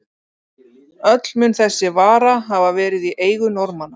Öll mun þessi vara hafa verið í eigu Norðmanna.